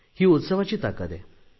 ही उत्सवाची ताकद आहे